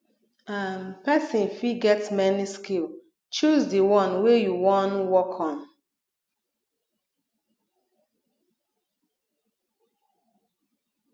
um persin fit get many skill choose di one wey you won work on